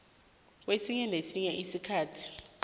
kwesinye nesinye isikhathi